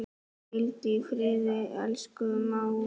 Hvíldu í friði, elsku mágur.